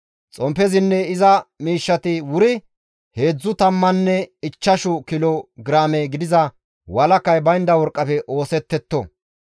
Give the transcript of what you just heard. Xomppezinne iza miishshati wuri heedzdzu tammanne ichchashu kilo giraame gidiza walakay baynda worqqafe oosettetto.